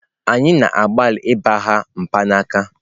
Anyị na-agbalị ịgbagha mkpanaka.